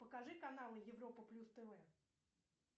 покажи канал европа плюс тв